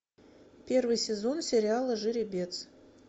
первый сезон сериала жеребец